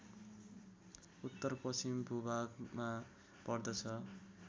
उत्तरपश्चिम भूभागमा पर्दछ